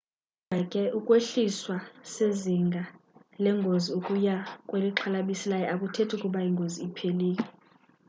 kodwa ke ukwehliswa sezinga lengozi ukuya kwelixhalabisayo akuthethi ukuba ingozi iphelile